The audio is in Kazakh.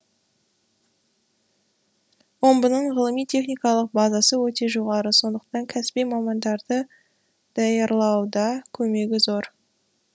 омбының ғылыми техникалық базасы өте жоғары сондықтан кәсіби мамандарды даярлауда көмегі зор